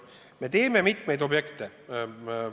Me teeme mitmeid projekte.